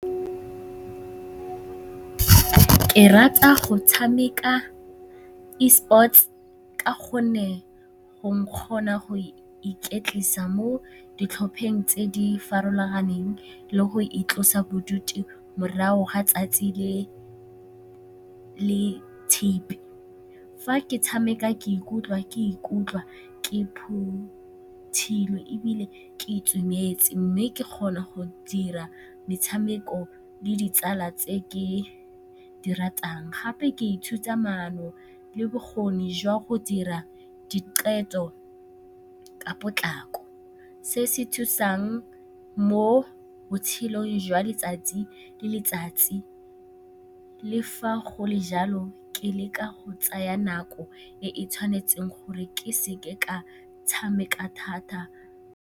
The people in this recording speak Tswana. Ke rata go tshameka e-sports ka gonne go nkgontsha go iketlisa mo ditlhopheng tse di farologaneng le go itlosa bodutu morago ga 'tsatsi le le tshipi. Fa ke tshameka ke ikutlwa ke phuthologile ebile ke itumetse mme ke kgona go dira metshameko le ditsala tse ke di ratang, gape ke ithuta maano le bokgoni jwa go dira diqetho ka potlako. Se se thusang mo botshelong jwa letsatsi le letsatsi le fa go le jalo, ke leka go tsaya nako e e tshwanetseng gore ke se ke ka tshameka thata.